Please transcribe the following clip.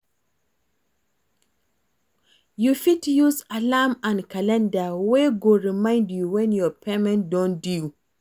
you fit use alarm and calender wey go remind you when your payment don due